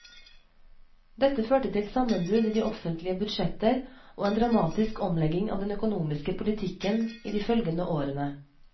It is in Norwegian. Dette førte til sammenbrudd i de offentlige budsjetter og en dramatisk omlegging av den økonomiske politikken i de følgende årene.